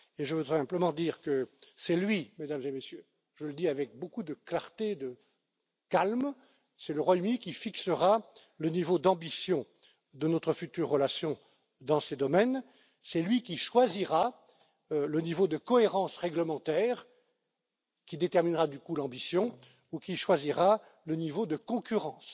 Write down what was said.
Et je voudrais simplement dire que c'est lui, Mesdames et Messieurs, je le dis avec beaucoup de clarté et de calme, c'est le Royaume Uni qui fixera le niveau d'ambition de notre future relation dans ces domaines, c'est lui qui choisira le niveau de cohérence réglementaire, qui déterminera, du coup, l'ambition, ou qui choisira le niveau de concurrence